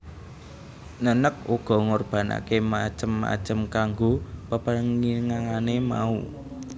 Neneg uga ngorbanaké macem macem kanggo pepenginané mau